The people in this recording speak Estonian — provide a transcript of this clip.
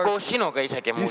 Koos sinuga isegi, muuseas.